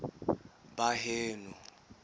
baheno